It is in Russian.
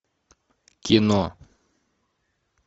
кино